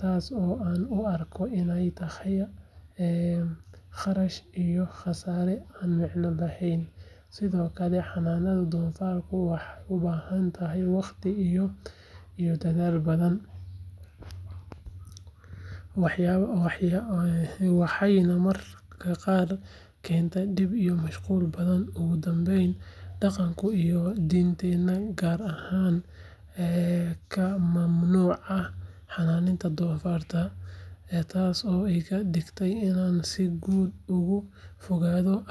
taasoo aan u arko inay tahay kharash iyo khasaare aan micno lahayn. Sidoo kale, xanaanaynta doofaarradu waxay u baahan tahay waqti iyo dadaal badan, waxayna mararka qaar keentaa dhib iyo mashquul badan. Ugu dambeyn, dhaqanka iyo diinteena qaar ayaa ka mamnuucaya xanaanaynta doofaarrada, taasoo iga dhigaysa inaan si guud uga fogaado arrintan.